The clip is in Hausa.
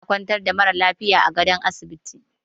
Ana kwantar da mara lafiya a gadon asibiti